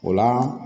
O la